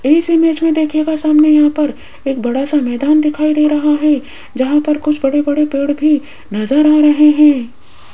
इस इमेज में देखिएगा सामने यहां पर एक बड़ा सा मैदान दिखाई दे रहा है जहां पर कुछ बड़े बड़े पेड़ भी नजर आ रहे है।